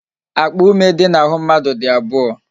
Akpa ume dị n'ahụ mmadụ dị abụọ